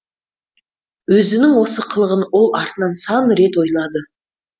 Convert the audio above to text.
өзінің осы қылығын ол артынан сан рет ойлады